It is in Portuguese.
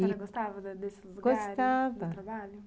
Você gostava da desse lugar? gostava, do trabalho...